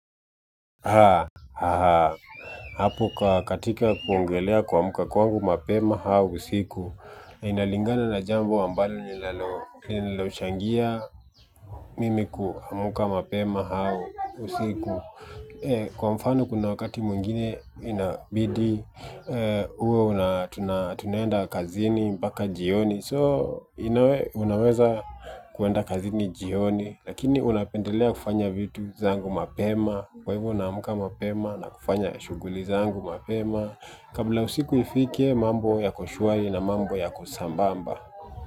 Hapo katika kuongelea kuamka kwangu mapema au usiku inalingana na jambo ambalo linalochangia mimi kuamka mapema au usiku kwa mfano kuna wakati mwingine inabidi uwe tunaenda kazini mpaka jioni. So unaweza kuenda kazini jioni lakini unapendelea kufanya vitu zangu mapema kwa hivyo unaamka mapema na kufanya shughuli zangu mapema kabla usiku ifike mambo yako shwari na mambo yako sambamba.